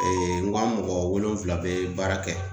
n ka mɔgɔ wolonfila bɛ baara kɛ